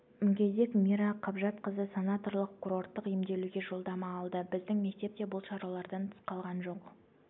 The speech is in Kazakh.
мүгедек мира қабжатқызы санаторлық-курорттық емделуге жолдама алды біздің мектеп те бұл шаралардан тыс қалған жоқ